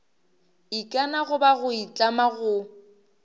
ikana goba go itlama go